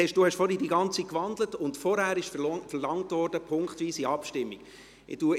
Sie haben vorhin das Ganze gewandelt, und vorangehend wurde eine punktweise Abstimmung verlangt.